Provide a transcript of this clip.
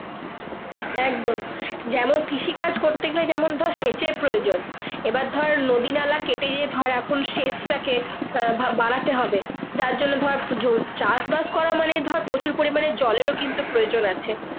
একদম যেমন কৃষি কাজ করতে গালে যেমন ধর সেচের প্রয়োজন এবার ধরে নালা কেটে যে ফার এখন সেট টাকে বাড়া তে হবে তার জন্য ধর ধর চাষ বাস করা মানে ধরে প্রচুর পড়ি মানে জলের ও কিন্তু প্রয়োজন আছে।